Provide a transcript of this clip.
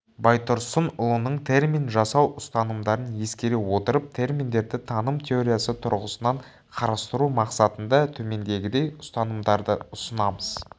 байтұрсынұлының термин жасау ұстанымдарын ескере отырып терминдерді таным теориясы тұрғысынан қарастыру мақсатында төмендегідей ұстанымдарды ұсынамыз